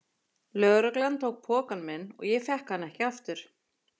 Lögreglan tók pokann minn og ég fékk hann ekki aftur.